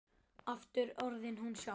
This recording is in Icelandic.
Aftur orðin hún sjálf.